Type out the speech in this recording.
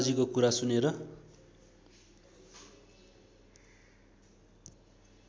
कमलाजीको कुरा सुनेर